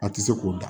A tɛ se k'o da